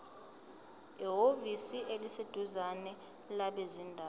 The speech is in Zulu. ehhovisi eliseduzane labezindaba